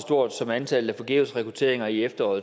stort som antallet af forgæves rekrutteringer i efteråret